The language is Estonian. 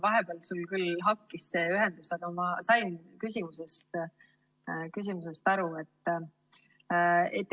Vahepeal sul küll ühendus hakkis, aga ma sain küsimusest aru.